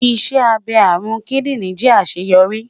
Iṣẹ abẹ arun kidinrin jẹ aṣeyọri